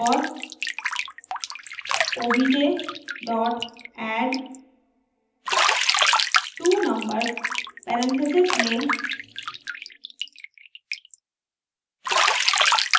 और obj addtwonumbers parentheses में